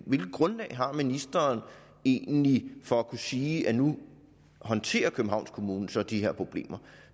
hvilket grundlag har ministeren egentlig for at kunne sige at nu håndterer københavns kommune så de her problemer